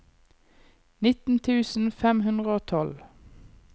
nitten tusen fem hundre og tolv